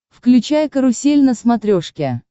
включай карусель на смотрешке